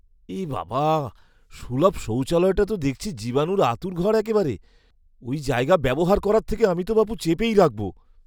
এবাবা, সুলভ শৌচালয়টা তো দেখছি জীবাণুর আঁতুড়ঘর একেবারে! ওই জায়গা ব্যবহার করার থেকে আমি তো বাপু চেপেই রাখবো।